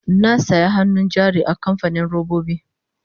na saya hannun jari a kamfanin robobi